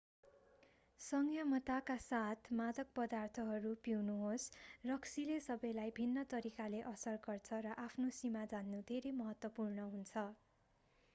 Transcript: संयमताका साथ मादक पदार्थहरू पिउनुहोस् रक्सीले सबैलाई भिन्न तरिकाले असर गर्छ र आफ्नो सीमा जान्नु धेरै महत्त्वपूर्ण हुन्छ